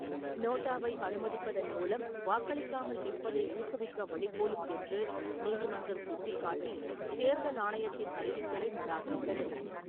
நோட்டாவை அனுமதிப்பதன் மூலம், வாக்களிக்காமல் இருப்பதை ஊக்குவிக்க வழிகோலும் என்று நீதிமன்றம் சுட்டிக்காட்டி தேர்தல் ஆணையத்தின் அறிவிக்கையை நிராகரித்தது.